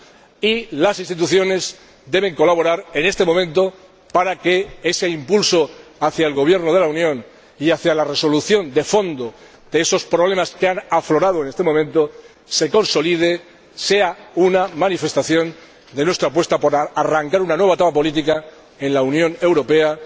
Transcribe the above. Y las instituciones deben colaborar en este momento para que ese impulso hacia el gobierno de la Unión y hacia la resolución de fondo de esos problemas que han aflorado en este momento se consolide, sea una manifestación de nuestra apuesta por arrancar una nueva etapa política en la Unión Europea